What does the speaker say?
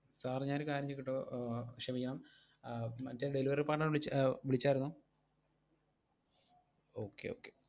Sir ഞാനൊരു കാര്യം ചോദിക്കട്ടോ? ക്ഷമിക്കണം ആഹ് മറ്റേ delivery partner എ വിളിച്ച~ വിളിച്ചായിരുന്നോ okay okay